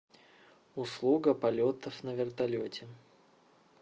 услуга полетов на вертолете